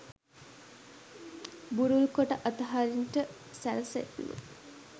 බුරුල් කොට අතහරින්ට සැරසෙත්ම